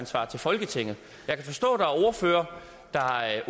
svarer folketinget jeg kan forstå at ordførere der